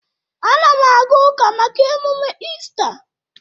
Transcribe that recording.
Anam aga uka maka emume Ista